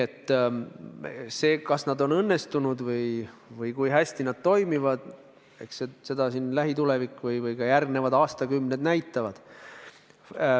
Seda, kas need on õnnestunud, kui hästi need toimivad, näitavad lähitulevik ja ka järgnevad aastakümned.